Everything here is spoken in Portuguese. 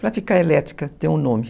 Para ficar elétrica, tem um nome.